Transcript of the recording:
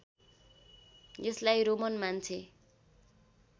यसलाई रोमन मान्छे